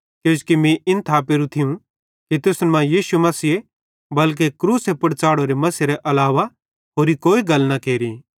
किजोकि मीं इन थापेरू थियूं कि तुसन मां यीशु मसीह बल्के क्रूसे पुड़ च़ाढ़ोरे मसीहेरे अलावा होरि कोई गल न केरि